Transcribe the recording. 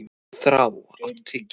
Þrá, áttu tyggjó?